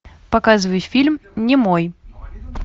показывай фильм немой